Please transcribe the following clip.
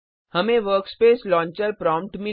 हमें workspace launcher prompt